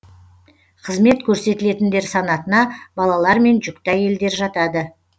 қызмет көрсетілетіндер санатына балалар мен жүкті әйелдер жатады